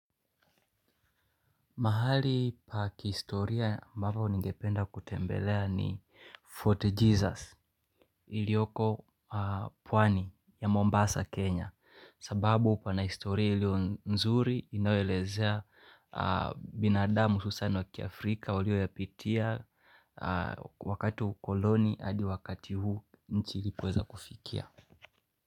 Mahali pa kihistoria ambapo ningependa kutembelea ni Fort Jesus ilioko pwani ya Mombasa, Kenya. Sababu pana historia iliyo nzuri inayoelezea binadamu hususan wa kiafrika waliyoyapitia wakati wa ukoloni hadi wakati huu nchi ilipoweza kufikia.